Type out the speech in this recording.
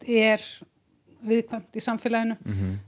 er viðkvæmt í samfélaginu